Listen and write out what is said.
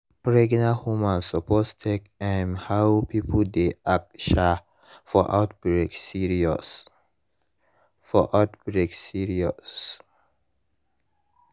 pregnant woman suppose take um how people dey act um for outbreak serious. for outbreak serious.